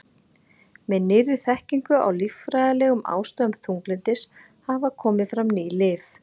Með nýrri þekkingu á líffræðilegum ástæðum þunglyndis hafa komið fram ný lyf.